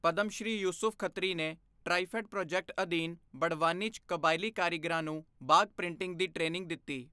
ਪਦਮਸ਼੍ਰੀ ਯੂਸੁਫ਼ ਖੱਤਰੀ ਨੇ TRIFED project ਅਧੀਨ ਬੜਵਾਨੀ ਚ ਕਬਾਇਲੀ ਕਾਰੀਗਰਾਂ ਨੂੰ ਬਾਗ਼ ਪ੍ਰਿੰਟਿੰਗ ਦੀ ਟ੍ਰੇਨਿੰਗ ਦਿੱਤੀ